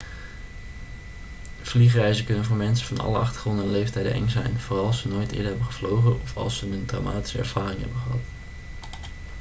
vliegreizen kunnen voor mensen van alle achtergronden en leeftijden eng zijn vooral als ze nooit eerder hebben gevlogen of als ze een traumatische ervaring hebben gehad